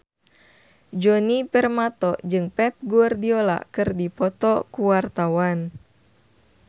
Djoni Permato jeung Pep Guardiola keur dipoto ku wartawan